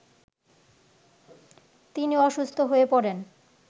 তিনি অসুস্থ হয়ে পড়েন